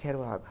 Quero água.